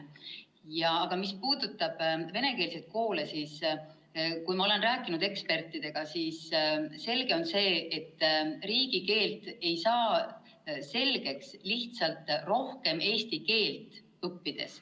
Mis puudutab venekeelseid koole, siis kui ma olen rääkinud ekspertidega, on selge see, et riigikeelt ei saa selgeks lihtsalt rohkem eesti keelt õppides.